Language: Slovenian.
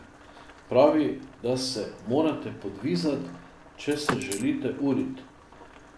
Pravi, da se morate podvizati, če se želite uriti.